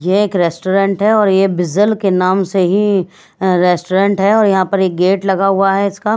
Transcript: यह एक रेस्टोरेंट है और यह बिजल के नाम से ही अह रेस्टोरेंट है और यहां पर एक गेट लगा हुआ है इसका।